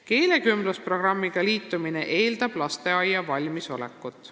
Keelekümblusprogrammiga liitumine eeldab lasteaia valmisolekut.